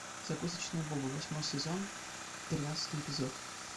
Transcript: закусочная боба восьмой сезон тринадцатый эпизод